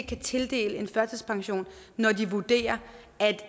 kan tildele en førtidspension når de vurderer at